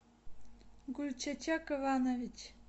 гульчачак иванович